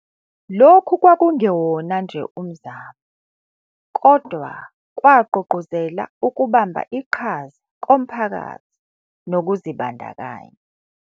Lokhu kwakungewona nje umzamo, kodwa kwagqugquzela ukubamba iqhaza komphakathi nokuzibandakanya.